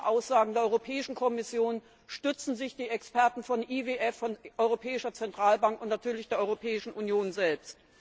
Auf diese Aussagen der Kommission stützen sich die Experten von IWF und Europäischer Zentralbank und natürlich der Europäischen Union selbst.